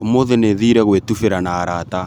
ũmũthĩ nĩthire gwĩtubĩra na arata